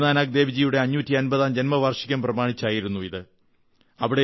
ഗുരുനാനക് ദേവ്ജിയുടെ 550ാം ജന്മവാർഷികം പ്രമാണിച്ചായിരുന്നു ഇത്